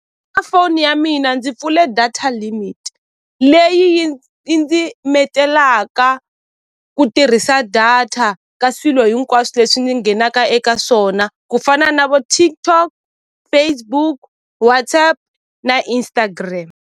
Ka foni ya mina ndzi pfule data limit leyi yi yi ndzi metelaka ku tirhisa data ka swilo hinkwaswo leswi ni nghenaka eka swona ku fana na vo TikTok, Facebook, WhatsApp na Instagram.